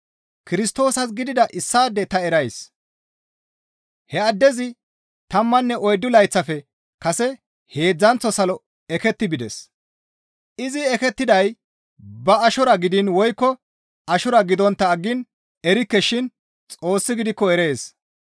Kirstoosas gidida issaade ta erays; he addezi tammanne oyddu layththafe kase heedzdzanththo salo eketti bides. (Izi ekettiday ba ashora gidiin woykko ashora gidontta aggiin ta erikke shin Xoossi gidikko erees.)